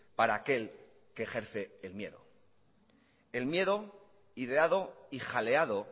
para aquel que ejerce el miedo el miedo ideado y jaleado